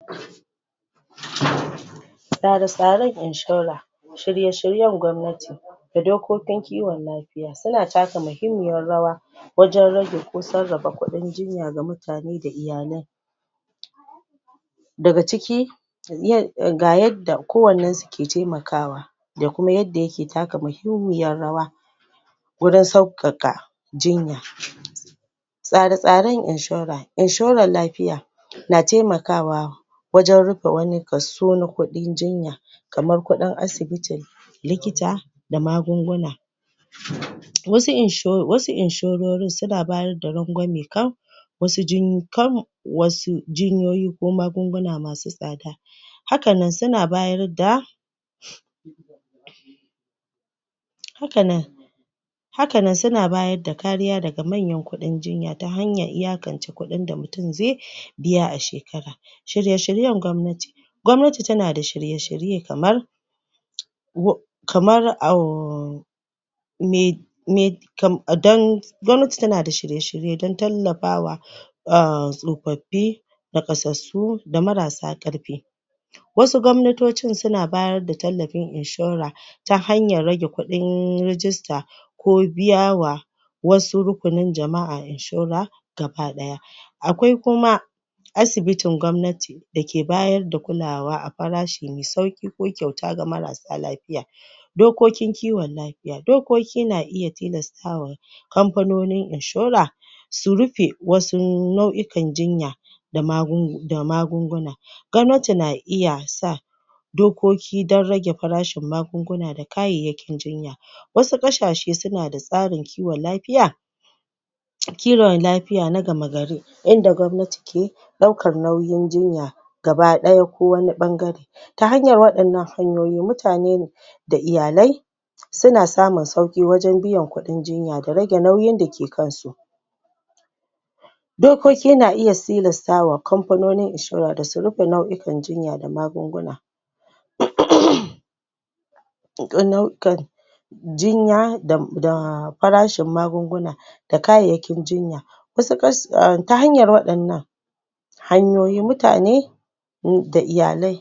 Tsare-Tsaren Inshora shirye-shiryen gwamnati da dokin kiwon lafiya, suna taka mahimmiyar rawa wajan rage ko sarrafa kuɗin jinya ga mutane da iyalai daga ciki um ga yadda kowannan su yake taimakawa da kuma yadda yake taka mahimmiyar rawa wurin sauƙaƙa jinya tsare-tsaren inshora inshorar lafiya na taimakawa wajan rufe wani kaso na kuɗin jinya kamar kuɗin asibiti likita magunguna wasu insho wasu inshororin suna bayar da rangwame kan wasu jin kam wasu jinyoyi ko magunguna masu tsada hakan nan suna bayarda hakan nan hakan suna bayarda kariya daga mayan kuɗin jinya, ta hanyar iyakance kuɗin da mutum zai biya a shekara shirye-shiryen gwamnati gwamnati tana da shirye-shirye kamar kamar um me me kam, dan gwamnati tana da shirye-shirye dan tallafawa um tsofaffi nakasassu da marar sa ƙarfi wasu gwamnatocin suna bayar da tallafin inshora ta hanyar rage kuɗin rigista ko biyawa wasu rukunin jama'a inshora gaba ɗaya akwai kuma asibitin gwamnati dake bayar da kulawa a farashi mai sauƙi ko kyauta ga marar sa lafiya Dokokin kiwon lafiya, dokokin na iya tilastawa kamfanonin inshora su rufe wasu nau'ikan jinya da magu da magunguna gwamnati na iya sa dokoki dan rage farashin magunguna da kayayyakin jinya wasu ƙasashe suna da tsarin kiwon lafiya kiwon lafiya na gamagari inda gwamnati ke ɗaukar nauyin jinya gaba ɗaya ko wani ɓangare ta hanyar waɗannan hanyoyi mutane da iyalai suna samu sauƙi wajan biyan kuɗin jinya da rage nauyi dake kan su dokoki na iya tilastawa kamfanonin inshora da su rufe nau'ikan jinya da magunguna um nau'ikan jinya da da farashin magunguna da kayayyakin jinya wasu kasa ta hanyar waɗannan hanyoyi mutane um da iyalai